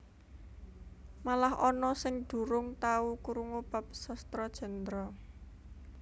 Malah ana sing durung tau krungu bab Sastra Jendra